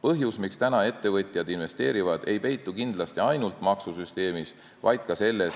Põhjus, miks ettevõtjad praegu investeerivad, ei peitu kindlasti ainult maksusüsteemis, vaid ka selles,